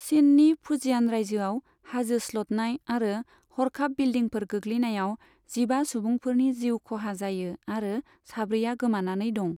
चिननि Fujian रायजोआव हाजो स्लोदनाय आरो हरखाब बिलदिंफोर गोगलैनायाव जिबा सुबुंफोरनि जिउ खहा जायो आरो साब्रैआ गोमानानै दं।